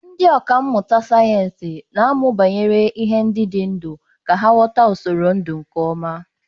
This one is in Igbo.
Ndị ọkà mmụta sayensị na-amụ banyere ihe ndị dị ndụ ka ha ghọta usoro ndụ nke ọma.